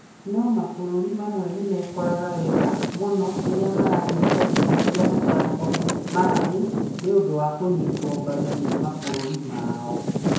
No mabũrũri mamwe nĩ mekoraga wega mũno rĩrĩa maranyita itĩ cia mathako ma thĩ nĩ ũndũ wa kũnyitwo mbaru nĩ mabũrũri mao.